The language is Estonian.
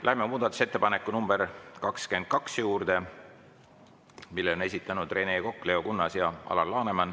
Läheme muudatusettepaneku nr 22 juurde, mille on esitanud Rene Kokk, Leo Kunnas ja Alar Laneman.